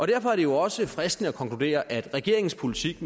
derfor er det jo også fristende at konkludere at regeringens politik